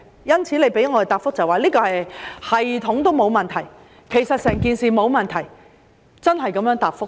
當局給我們的答覆是，系統沒有問題，其實整件事沒有問題，真是這樣答覆的。